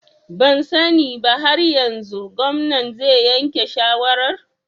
Ban sani ba har yanzu, gwamnan zai yanke shawarar